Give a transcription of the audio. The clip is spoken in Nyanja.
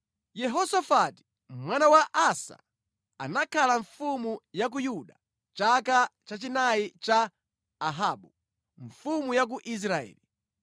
Yehosafati, mwana wa Asa anakhala mfumu ya ku Yuda chaka chachinayi cha Ahabu mfumu ya ku Israeli.